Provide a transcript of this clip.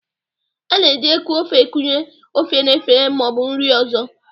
A na-eji eku ofe ekunye ofe n'efere ma ọ bụ nri ọzọ